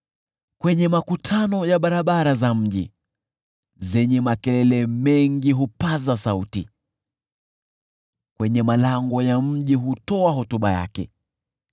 kwenye makutano ya barabara za mji zenye makelele mengi hupaza sauti, kwenye malango ya mji hutoa hotuba yake: